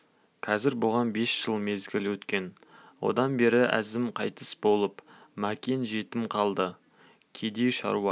қазір бұған бес жыл мезгіл өткен одан бері әзім қайтыс болып мәкен жетім қалды кедей шаруа